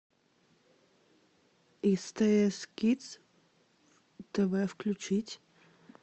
стс кидс тв включить